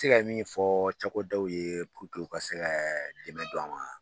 Se ka min fɔ cakɛdaw ye u ka se ka dɛmɛ don an ma